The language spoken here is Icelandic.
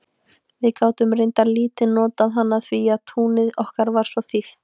Við gátum reyndar lítið notað hana því að túnið okkar var svo þýft.